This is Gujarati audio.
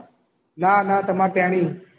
ના ના તમાર તેડી